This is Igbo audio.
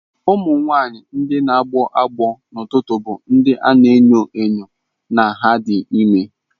Ụmụ nwanyị ndị na-agbọ agbọ n'ụtụtụ bụ ndị a na-enyo enyo na ha dị ime.